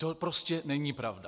To prostě není pravda.